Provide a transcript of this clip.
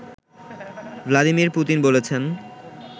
Vladimir Putin বলেছেন